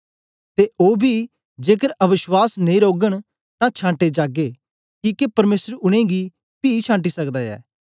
ते ओ बी जेकर अवश्वास नेई रौगन तां छांटे जागे किके परमेसर उनेंगी पी छांटी सकदा ऐ